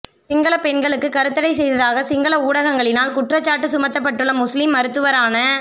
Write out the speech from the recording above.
சிங்கள பெண்களுக்கு கருத்தடை செய்ததாக சிங்கள ஊடகங்களினால் குற்றச்சாட்டு சுமத்தப்பட்டுள்ள முஸ்லீம் மருத்துவரான